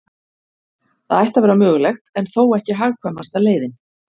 Það ætti að vera mögulegt, en þó ekki hagkvæmasta leiðin.